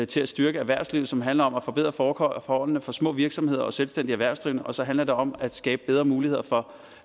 til at styrke erhvervslivet som handler om at forbedre forholdene for små virksomheder og selvstændige erhvervsdrivende og så handler det om at skabe bedre muligheder for